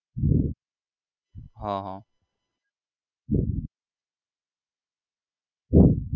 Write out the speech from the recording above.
હા હા